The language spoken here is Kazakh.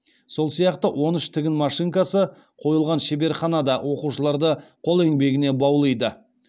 сол сияқты он үш тігін машинкасы қойылған шеберхана да оқушыларды қол еңбегіне баулиды